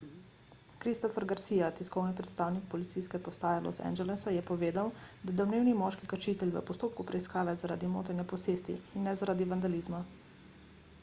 christopher garcia tiskovni predstavnik policijske uprave los angelesa je povedal da je domnevni moški kršitelj v postopku preiskave zaradi motenja posesti in ne zaradi vandalizma